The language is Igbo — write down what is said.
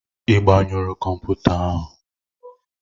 Ị gbanyụru kọmputa ahụ?